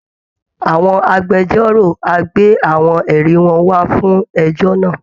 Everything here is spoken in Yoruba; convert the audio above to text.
Àwọn agbẹjọ́rò á gbé àwọn ẹ̀rí wọn wá fún ẹjọ́ náà